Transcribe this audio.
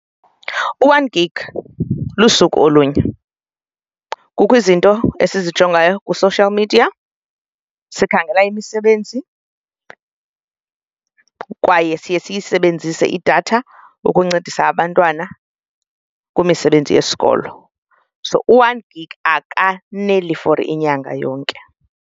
U-one gig lusuku olunye. Kukho izinto endizijongayo kwi-social media, sikhangela imisebenzi kwaye siye siyisebenzise idatha ukuncedisa abantwana kwimisebenzi yesikolo so u-one gig akaneli for inyanga yonke.